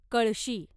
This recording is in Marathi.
कळशी